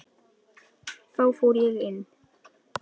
Þá fór ég inn.